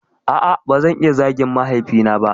A'a bazan iya zagin mahaifi na ba